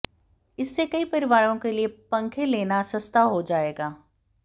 इससे कई परिवारों के लिए पंखे लेना सस्ता हो जाएगा